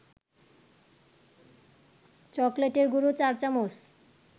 চকলেটের গুঁড়ো ৪ চামচ